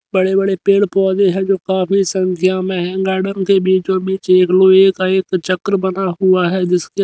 बड़े बड़े पेड़ पौधे हैं जो काफी संख्या में हैं गार्डन के बीचों बीच एक लोहे का एक चक्र बना हुआ है जिसके--